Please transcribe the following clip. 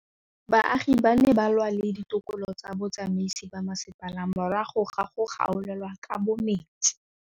Baagi ba ne ba lwa le ditokolo tsa botsamaisi ba mmasepala morago ga go gaolelwa kabo metsi